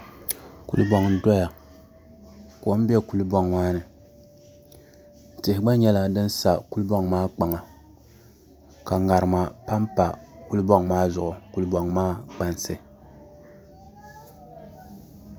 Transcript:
Kuli boŋ n doya kom bɛ kuli boŋ maa ni tihi gba nyɛla din sa kuli boŋ maa kpaŋa ka ŋarima panpa kuli boŋ maa zuɣu kuli boŋ maa kpansi